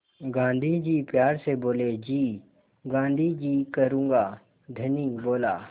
गाँधी जी प्यार से बोले जी गाँधी जी करूँगा धनी बोला